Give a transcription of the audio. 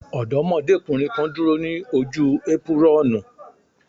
Ọdọ́mọdékùnrin kan dúró ní ojú épírọ́ọ̀nù.